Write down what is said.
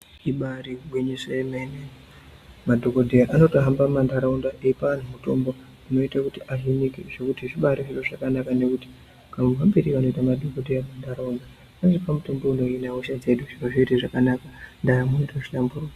ibari gwinyiso remene madhokodheya anotohamba munharaunda eipa anhu mitombo unoite kuti ahinike zvekuti zvibari zviro zvakanaka nekuti kamuhambire kanoita madhokodheya munharaunda anopa mitombo inohine hosha dzedu zviro zvoite zvakanaka ndaramo yotohlamburuka.